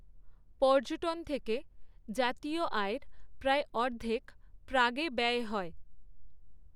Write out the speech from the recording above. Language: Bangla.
পর্যটন থেকে জাতীয় আয়ের প্রায় অর্ধেক প্রাগে ব্যয় হয়।